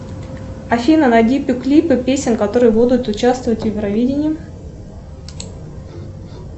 афина найди клипы песен которые будут учувствовать в евровидении